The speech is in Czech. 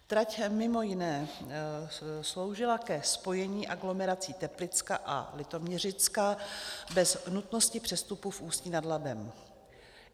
Trať mimo jiné sloužila ke spojení aglomerací Teplicka a Litoměřicka bez nutnosti přestupu v Ústí nad Labem.